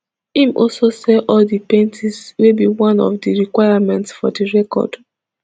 im also sell all di paintings wey be one of di requirement for di record